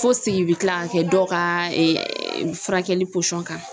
Fo sigi bɛ kila ka kɛ dɔ ka furakɛli pɔsɔn kan.